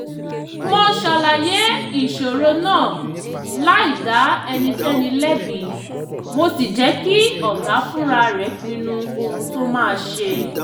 mo ṣàlàyé ìṣòro náà láì dá ẹnikẹ́ni lẹ́bi mo sì jẹ́ kí ọ̀gá fúnra rẹ̀ pinnu ohun tó máa ṣe